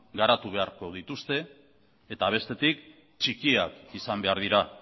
garatu beharko dituzte eta bestetik txikiak izan behar dira